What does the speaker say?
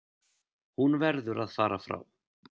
Hún verður að fara frá